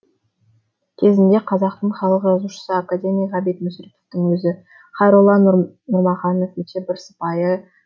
кезінде қазақтың халық жазушысы академик ғабит мүсіреповтің өзі хайролла нұрмұқанов өте бір сыпайы